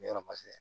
N bɛ yɔrɔ